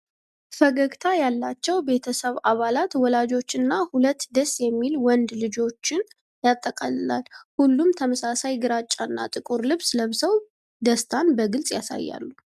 ፈገግታ ያላቸው ቤተሰብ አባላት ወላጆችንና ሁለቱን ደስ የሚል ወንዶች ልጆችን ያጠቃልላል። ሁሉም ተመሳሳይ ግራጫና ጥቁር ልብስ ለብሰው ደስታን በግልጽ ያሳያሉ።